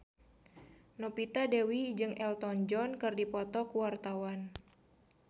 Novita Dewi jeung Elton John keur dipoto ku wartawan